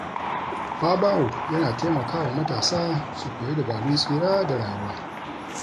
Babawo yana taimaka wa matasa su koyi dabarun tsira da rayuwa.